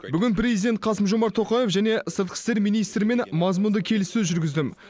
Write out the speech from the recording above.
бүгін президент қасым жомарт тоқаев және сыртқы істер министрімен мазмұнды келіссөз жүргіздім